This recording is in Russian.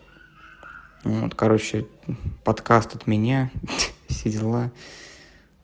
вот короче подкаст от меня все дела